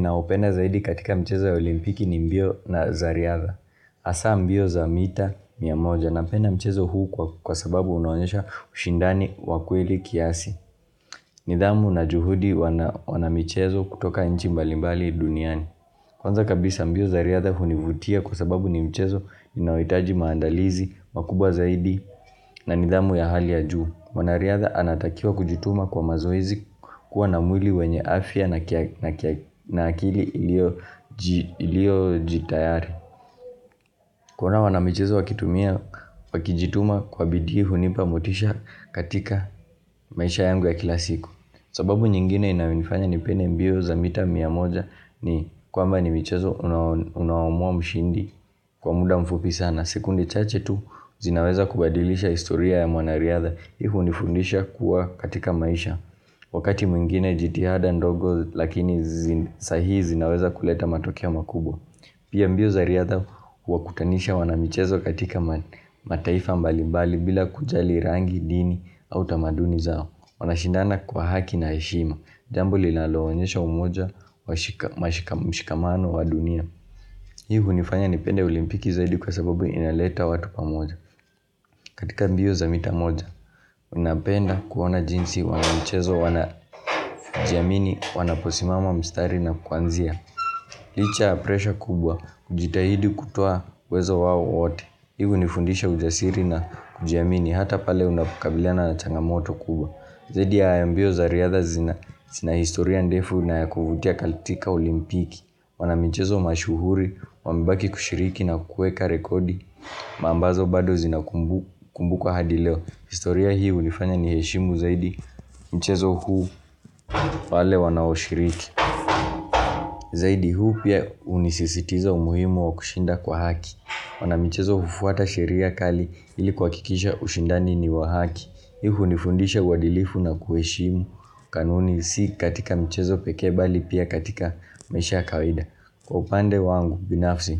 Ninayopenda zaidi katika michezo ya olimpiki ni mbio na za riadha. Hasa mbio za mita mia moja. Napenda mchezo huu kwa sababu unaonyesha ushindani wa kweli kiasi. Nidhamu na juhudi wanamichezo kutoka nchi mbalimbali duniani. Kwanza kabisa mbio za riadha hunivutia kwa sababu ni mchezo inaohitaji maandalizi, makubwa zaidi na nidhamu ya hali ya juu. Wanariadha anatakiwa kujituma kwa mazoezi kuwa na mwili wenye afya na akili iliyo jitayari. Kuona wanamichezo wakitumia wakijituma kwa bidii hunipa motisha katika maisha yangu ya kila siku. Sababu nyingine inayonifanya ni pende mbio za mita mia moja ni kwamba ni michezo unaomua mshindi kwa muda mfupi sana. Sekunde chache tu zinaweza kubadilisha historia ya mwanariadha. Hivyo hunifundisha kuwa katika maisha, wakati mwingine jitihada ndogo lakini sahi zinaweza kuleta matokeo makubwa Pia mbio za riadha huwakutanisha wanamichezo katika mataifa mbali mbali bila kujali rangi, dini au tamaduni zao. Wanashindana kwa haki na heshima. Jambo linaloonyesha umoja wa mshikamano wa dunia Hii hunifanya nipende olimpiki zaidi kwa sababu inaleta watu pamoja katika mbio za mita moja, ninapenda kuona jinsi wanamichezo, wanajiamini, wanaposimama mstari na kuanzia Licha ya presha kubwa, kujitahidi kutua uwezo wao wote hii huu nifundisha ujasiri na kujiamini, hata pale unapukabiliana na changamoto kubwa Zaidi ya hayo mbio za riadha zina, zina historia ndefu na ya kuvutia katika olimpiki. Wanamchezo mashuhuri, wamebaki kushiriki na kuweka rekodi ambazo bado zinakumbukwa hadi leo. Historia hii hunifanya niheshimu zaidi Mchezo huu wale wanaoshiriki Zaidi huu pia hunisisitizia umuhimu wa kushinda kwa haki. Wanamichezo hufuata sheria kali ili kuhakikisha ushindani ni wa haki. Hii hunifundisha uadilifu na kuheshimu kanuni si katika mchezo pekee, bali pia katika maisha kawida Kwa upande wangu binafsi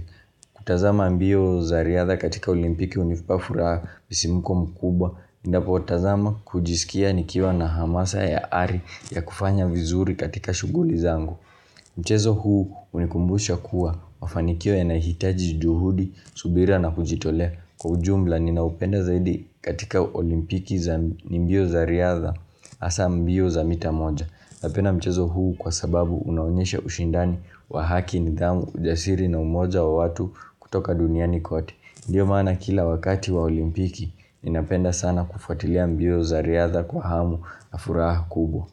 kutazama mbio za riadha katika olimpiki hunipa furaha msisimko mkubwa Ninapotazama hujisikia nikiwa na hamasa ya ari ya kufanya vizuri katika shughuli zangu Mchezo huu hunikumbusha kuwa mafanikio yanahitaji juhudi, subira na kujitolea. Kwa ujumla ninaupenda zaidi katika olimpiki za mbio za riadha Hasa mbio za mita moja. Napenda mchezo huu kwa sababu unaonyesha ushindani wa haki, nidhamu, ujasiri na umoja wa watu kutoka duniani kote. Ndio maana kila wakati wa olimpiki, ninapenda sana kufatilia mbio za riadha kwa hamu na furaha kubwa.